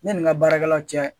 Ne nin ka baarakɛlaw cɛ.